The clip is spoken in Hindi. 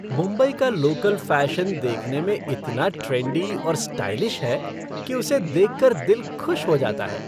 मुंबई का लोकल फैशन देखने में इतना ट्रेंडी और स्टाइलिश है कि उसे देख कर दिल खुश हो जाता है।